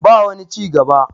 ba wani ci gaba